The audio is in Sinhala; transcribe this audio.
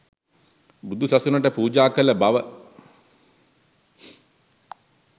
බුදුසසුනට පූජා කළ බව